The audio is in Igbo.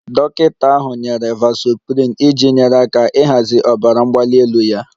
Dọkịta ahụ nyere vasoprin iji nyere aka ịhazi ọbara mgbali elu ya